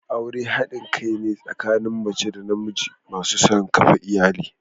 Aure hadin kai ne tsakanin mace da namiji masu son kafa iyali.